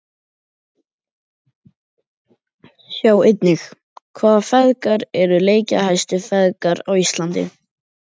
Sjá einnig: Hvaða feðgar eru leikjahæstu feðgar á Íslandi?